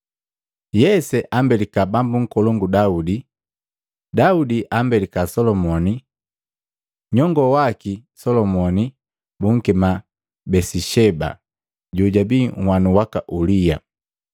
Yese ambelika Bambu Nkolongu Daudi. Daudi ambelika Solomoni, nyongoo waki Solomoni bunkema Besisheba jojabii nhwanu waka Ulia.